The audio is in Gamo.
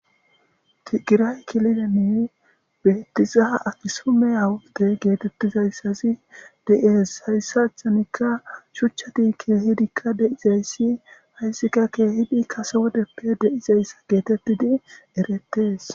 tigiray kilileni bettiza akisumeyawudde geetettizayssazi de7ies hayssathanikka shuchchati keehidikka deizayssi hayssika keehidi kase wodeppe deizayssa geetettidi erettees